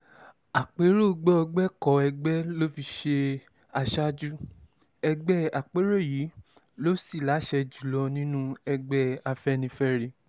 àpérò gbọgbẹ́kọ̀ọ́ ẹgbẹ́ ló fi í ṣe aṣáájú ẹgbẹ́ àpérò yìí ló sì láṣẹ jù lọ nínú ẹgbẹ́ afẹ́nifẹ́re